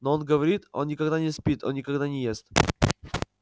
но он говорит он никогда не спит он никогда не ест